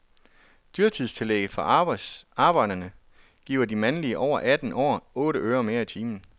Dyrtidstillæget for arbejderne giver de mandlige over atten år otte øre mere i timen.